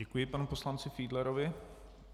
Děkuji panu poslanci Fiedlerovi.